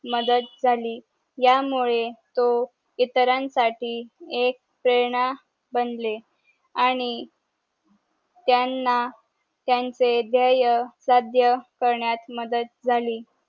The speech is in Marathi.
मदत जाली या मुळे तो इतरांना साठी एक प्रेरणा बनले आणि त्यांना त्यांचे द्येय साध्या करण्यात मदत जाली